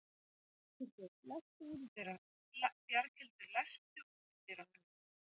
Bjarghildur, læstu útidyrunum.